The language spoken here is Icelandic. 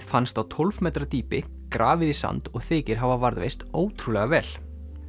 fannst á tólf metra dýpi grafið í sand og þykir hafa varðveist ótrúlega vel